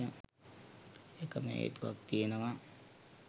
එකම හේතුවක් තියෙනවා